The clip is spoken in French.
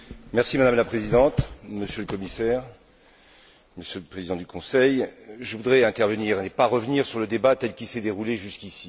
Madame la Présidente, Monsieur le Commissaire, Monsieur le Président du Conseil, je voudrais intervenir et ne pas revenir sur le débat tel qu'il s'est déroulé jusqu'ici.